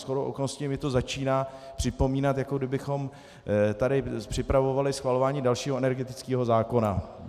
Shodou okolností mi to začíná připomínat, jako kdybychom tady připravovali schvalování dalšího energetického zákona.